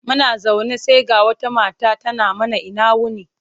Muna zaune sai ga wata mata tana mana ina wuni.